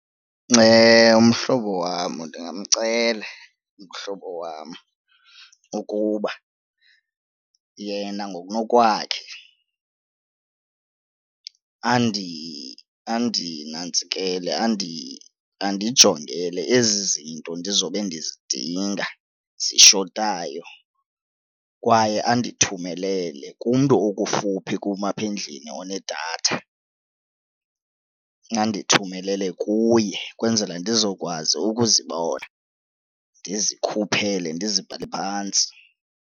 Mhlobo wam ndingamcela umhlobo wam ukuba yena ngokunokwakhe andinantsikele andijongele ezi zinto ndizobe ndizidinga zishotayo kwaye andithumelele kumntu okufuphi kum apha endlini onedatha, andithumelele kuye kwenzele ndizokwazi ukuzibona ndizikhuphele ndizibhale phantsi.